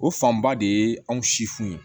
O fanba de ye anw si funu ye